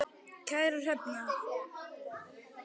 Kæra Hrefna